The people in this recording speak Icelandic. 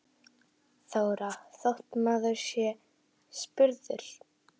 Þóra: Þótt maður sé spurður?